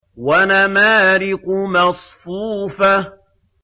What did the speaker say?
وَنَمَارِقُ مَصْفُوفَةٌ